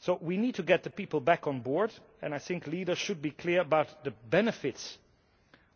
So we need to get the people back on board, and I think leaders should be clear about the benefits